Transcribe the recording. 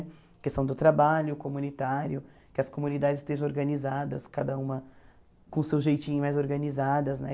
A questão do trabalho comunitário, que as comunidades estejam organizadas, cada uma com o seu jeitinho mais organizadas, né?